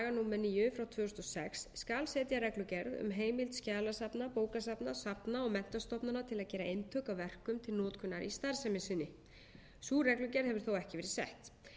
númer níu tvö þúsund og sex skal setja reglugerð um heimild skjalasafna bókasafna safna og menntastofnana til að gera eintök af verkum til notkunar í starfsemi sinni sú reglugerð hefur þó ekki verið sett